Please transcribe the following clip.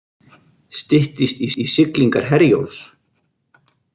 Styttist í siglingar Herjólfs